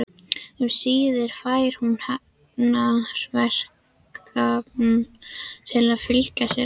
Um síðir fær hún hafnarverkamann til að fylgja sér.